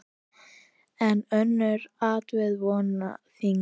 En önnur atriði vógu þyngra.